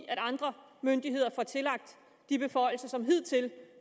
at andre myndigheder får tillagt de beføjelser som hidtil